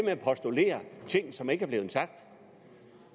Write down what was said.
at postulere ting som ikke er blevet sagt